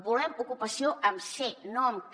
volem ocupació amb ce no amb ca